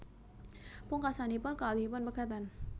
Pungkasanipun kekalihipun pegatan